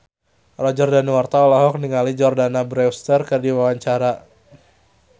Roger Danuarta olohok ningali Jordana Brewster keur diwawancara